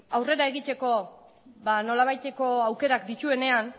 aurrera egiteko nolabaiteko aukerak dituenean